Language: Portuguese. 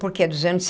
Porque é dos anos.